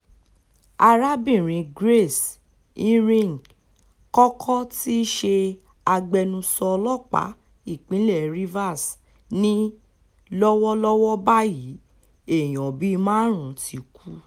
arábìnrin grace iringe-kọ́kọ́ tí í ṣe agbẹnusọ ọlọ́pàá ìpínlẹ̀ rivers ni lọ́wọ́lọ́wọ́ báyìí èèyàn bíi márùn-ún ti kú